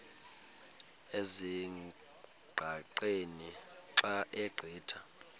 ezingqaqeni xa ugqitha